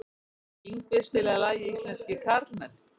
Yngvi, spilaðu lagið „Íslenskir karlmenn“.